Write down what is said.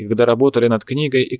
и когда работали над книгой